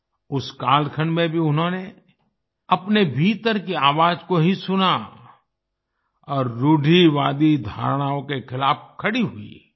उस कालखंड में भी उन्होंने अपने भीतर की आवाज़ को ही सुना और रुढ़िवादी धारणाओं के खिलाफ खड़ी हुई